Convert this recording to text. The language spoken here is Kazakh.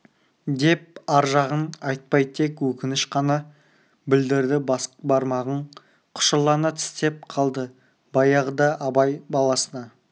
деп ар жағын айтпай тек өкініш қана білдірді бас бармағын құшырлана тістеп қалды баяғыда абай баласына